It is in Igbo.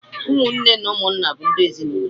ụmụ nne na ụmụ nna bụ ndị ezinụlọ.